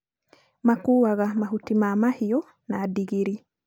makuaga mahuti ma mahiũ na ndigiri